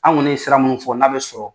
An kɔni ye sira minnu fɔ n'a bɛ sɔrɔ